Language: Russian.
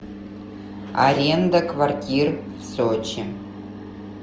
аренда квартир в сочи